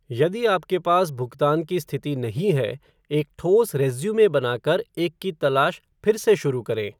यदि आपके पास भुगतान की स्थिति नहीं है, एक ठोस रेज़्यूमे बनाकर एक की तलाश फिर से शुरु करें।